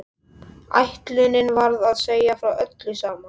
Ætlunin var að segja frá öllu saman.